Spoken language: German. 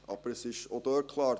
Aber es ist auch dort klar: